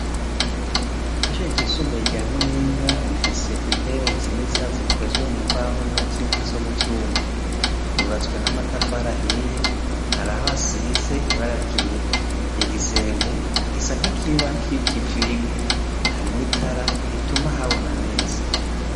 Ishure ryisumbuye rya Muyinga rifise intebe nziza zikozwe mu mbaho n'izindi zo muvyuma. Ryubatswe n'amatafari ahiye hari aho asize ibara ryera, igisenge gisa nk'ikiba kikivigwa, harimwo itara rituma habona neza.